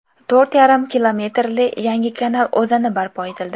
To‘rt yarim kilometrli yangi kanal o‘zani barpo etildi.